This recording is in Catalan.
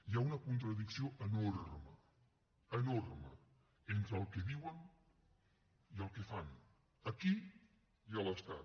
hi ha una contradicció enorme enorme entre el que diuen i el que fan aquí i a l’estat